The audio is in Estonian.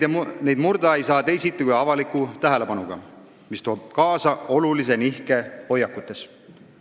Neid murda ei saa teisiti kui avaliku tähelepanuga, mis toob kaasa olulise nihke hoiakutes.